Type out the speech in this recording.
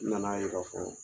N na na ye k'a fɔ